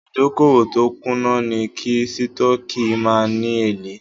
Ìdókòwò tó kùnà ni kí Sítọ́ọ́kì má ni èlé.